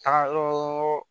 Taga o